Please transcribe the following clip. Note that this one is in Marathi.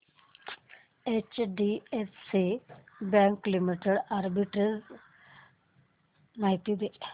एचडीएफसी बँक लिमिटेड आर्बिट्रेज माहिती दे